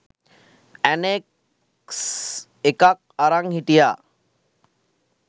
Annex එකක් අරන් හිටියා.